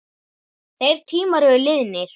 Þeir tímar eru liðnir.